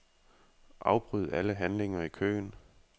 Afbryd alle handlinger i køen.